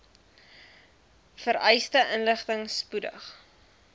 vereiste inligting spoedig